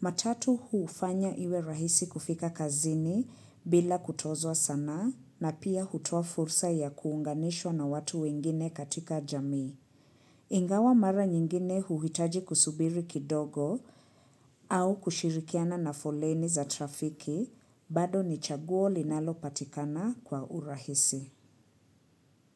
Matatu huu ufanya iwe rahisi kufika kazini bila kutozwa sanaa na pia hutoa fursa ya kuunganishwa na watu wengine katika jamii. Ingawa mara nyingine huhitaji kusubiri kidogo au kushirikiana na foleni za trafiki bado ni chaguo linalopatikana kwa urahisi.